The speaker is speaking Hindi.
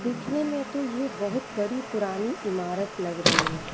दिखने में तो ये बहुत बड़ी पुरानी इमारत लग रही है।